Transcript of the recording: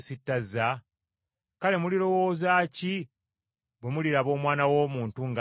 Kale mulirowooza ki bwe muliraba Omwana w’Omuntu ng’addayo gye yava?